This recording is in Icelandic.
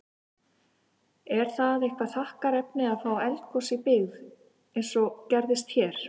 Er það eitthvað þakkarefni að fá eldgos í byggð, eins og gerðist hér?